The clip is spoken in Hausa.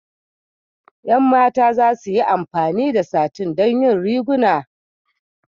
Ƴan mata za su yi amfani da satin don yin riguna.